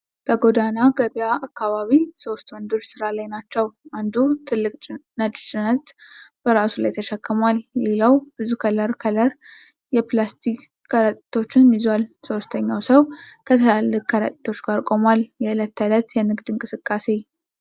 በጎዳና ገበያ አካባቢ ሶስት ወንዶች ሥራ ላይ ናቸው። አንዱ ትልቅ ነጭ ጭነት በራሱ ላይ ተሸክሟል። ሌላው ብዙ ከለር ከለር የፕላስቲክ ከረጢቶችን ይዟል። ሶስተኛው ሰው ከትላልቅ ከረጢቶች ጋር ቆሟል። የእለት ተእለት የንግድ እንቅስቃሴ።